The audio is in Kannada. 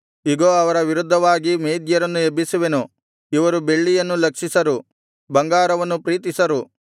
ಇಗೋ ಅವರ ವಿರುದ್ಧವಾಗಿ ಮೇದ್ಯರನ್ನು ಎಬ್ಬಿಸುವೆನು ಇವರು ಬೆಳ್ಳಿಯನ್ನು ಲಕ್ಷಿಸರು ಬಂಗಾರವನ್ನು ಪ್ರೀತಿಸರು